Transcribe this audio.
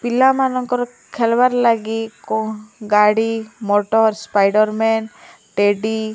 ପିଲାମାନଙ୍କର ଖେଲବାର୍ ଲାଗି କୋ ଗାଡି ମଟର୍ ସ୍ପାଇଡର୍ ମ୍ୟାନ୍ ଟେଡି --